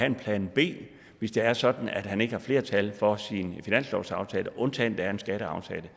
en plan b hvis det er sådan at han ikke har flertal for sin finanslovsaftale undtagen der er en skatteaftale